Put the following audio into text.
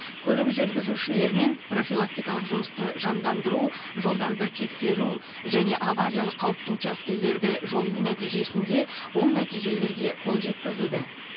көлік жүргізушілерімен профилактикалық жұмысты жандандыру жолдарды тексеру және авариялық қауіпті учаскелерді жою нәтижесінде оң нәтижелерге қол жеткізілді